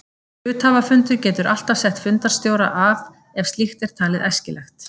Hluthafafundur getur alltaf sett fundarstjóra af ef slíkt er talið æskilegt.